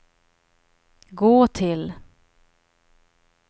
gå till